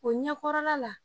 O ɲɛkɔrɔla la